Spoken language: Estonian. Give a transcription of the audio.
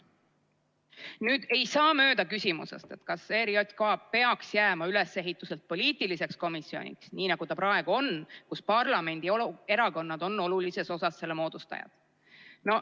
Nüüd, ei saa mööda küsimusest, kas ERJK peaks jääma ülesehituselt poliitiliseks komisjoniks, nii nagu ta praegu on, kus parlamendierakonnad on olulises osas selle moodustajad.